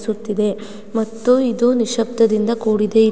ಸುತ್ತಿದೆ ಮತ್ತು ಇದು ನಿಶ್ಶಬ್ದದಿಂದ ಕೂಡಿದೆ--